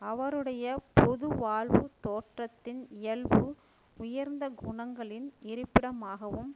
அவருடைய பொது வாழ்வு தோற்றத்தின் இயல்பு உயர்ந்த குணங்களின் இருப்பிடமாகவும்